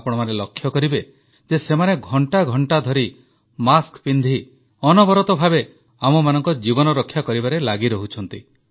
ଆପଣମାନେ ଲକ୍ଷ୍ୟ କରିବେ ଯେ ସେମାନେ ଘଣ୍ଟା ଘଣ୍ଟାଟା ଧରି ମାସ୍କ ପିନ୍ଧି ଅନବରତ ଭାବେ ଆମମାନଙ୍କ ଜୀବନ ରକ୍ଷା କରିବାରେ ଲାଗିରହୁଛନ୍ତି